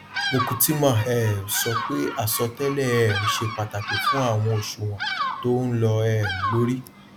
mokutima um sọ pé asọtẹlẹ um ṣe pàtàkì fún àwọn òṣùwòn tó n lọ um lórí